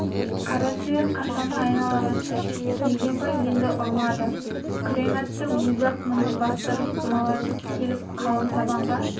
қара сиыр қашаны айнала қашты келгенбай енді ұрмады күрең аттың өзі-ақ мұны бастырмалатып келіп қалың табынға